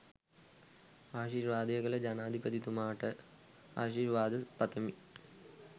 ආශීර්වාද කළ ජනාධිපතිතුමාට ආශිර්වාද පතමින්